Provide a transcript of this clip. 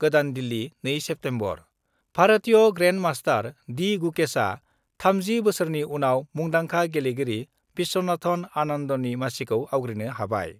गोदान दिल्ली, 2 सेप्तेम्बर: भारतीय grand master D गुकेशआ 30 बोसोरनि उनाव मुंदांखा गेलेगिरि बिस्वनाथन आनन्दनि मासिखौ आवग्रिनो हाबाय।